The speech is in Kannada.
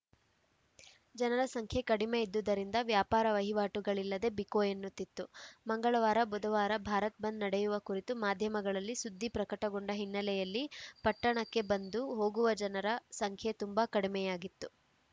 ಜನರ ಸಂಖ್ಯೆ ಕಡಿಮೆ ಇದ್ದುದರಿಂದ ವ್ಯಾಪಾರ ವಹಿವಾಟುಗಳಿಲ್ಲದೆ ಬಿಕೋ ಎನ್ನುತ್ತಿತ್ತು ಮಂಗಳವಾರಬುಧವಾರ ಭಾರತ್‌ ಬಂದ್‌ ನಡೆಯುವ ಕುರಿತು ಮಾಧ್ಯಮಗಳಲ್ಲಿ ಸುದ್ದಿ ಪ್ರಕಟಗೊಂಡ ಹಿನ್ನಲೆಯಲ್ಲಿ ಪಟ್ಟಣಕ್ಕೆ ಬಂದುಹೋಗುವ ಜನರ ಸಂಖ್ಯೆ ತುಂಬಾ ಕಡಿಮೆ ಯಾಗಿತ್ತು